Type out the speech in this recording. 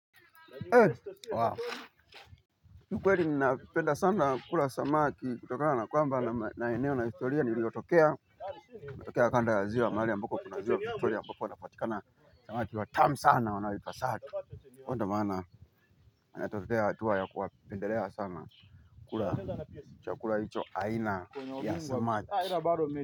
Kiukweli ninapenda sana kula samaki kutokana na kwamba na eneo na historia ni liyotokea. Natokea kanda ya ziwa mahali ambako kunaziwa Victoria ambapo wanapatikana samaki watamu sana wanaoitwa sato ko ndo mana inatokea hatua ya kuwapendelea sana kula chukula hicho aina ya samaki.